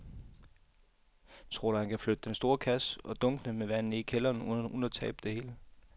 Tror du, at han kan flytte den store kasse og dunkene med vand ned i kælderen uden at tabe det hele?